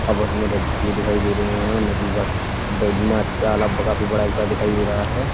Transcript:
आपस में लड़ते हुए दिखाई दे रहे हैं और नदी का काफ़ी बड़ा दिखाई दे रहा है।